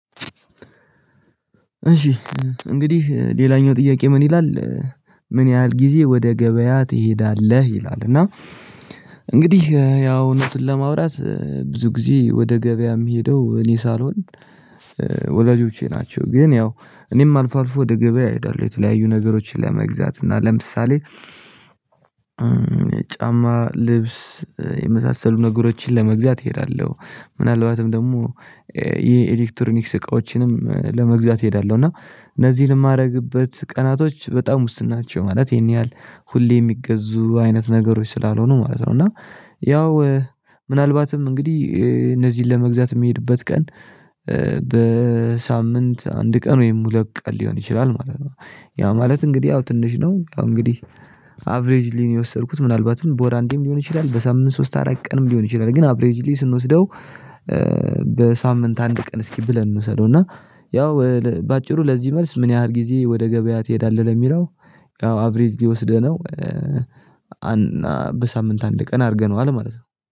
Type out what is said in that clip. እሺ እንግዲህ ሌላኛው ጥያቄ ምን ይላል ምን ያህል ጊዜ ወደ ገበያ ትሄዳለህ ይላል? እና እንግዲህ ያው እውነቱን ለማውራት ብዙ ጊዜ ወደ ገበያ የምሄደው እኔ ሳልሆን ወላጆቼ ናቸው። ግን ያው እኔም አልፎ አልፎ ወደ ገበያ እሄዳለሁ የተለያዩ ነገሮችን ለመግዛት እና ለምሳሌ ጫማ ልብስ የመሳሰሉ ነገሮችን ለመግዛት እሄዳለሁ። ምናልባትም ደግሞ የኤሌክትሮኒክስ እቃዎችንም ለመግዛት እሄዳለሁ እና እነዚህን የማደርግበት ቀናቶች በጣም ውስን ናቸው ማለት ይሄን ያህል ሁሌ የሚገዙ አይነት ነገሮች ስላልሆኑ ማለት ነው። እና ያው ምናልባትም እንግዲህ እነዚህን ለመግዛት የሚሄድበት ቀን በሳምንት አንድ ቀን ወይም ሁለት ቀን ሊሆን ይችላል ማለት ነው። ያ ማለት እንግዲህ ያው ትንሽ ነው ያው እንግዲህ አቬሬጅሊ ነው የወሰድኩት ምናልባትም በውር አንዴም ሊሆን ይችላል በሳምንት ሶስት አራት ቀንም ሊሆን ይችላል ግን አቬሬጅሊ ስንወስደው። በሳምንት አንድ ቀን እስኪ ብለን እንውሰደው እና ያው በአጭሩ ለዚህ መልስ ምን ያህል ጊዜ ወደ ገበያ ትሄዳለህ ለሚለው ያው አቬሬጅሊ ወስደነው በሳምንት አንድ ቀን አድርገነዋል ማለት ነው